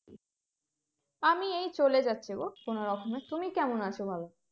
আমি এই চলে যাচ্ছে গো কোনো রকমে, তুমি কেমন আছো বলো?